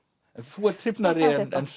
þú ert hrifnari